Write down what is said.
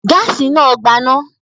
Gáásì náà gbaná?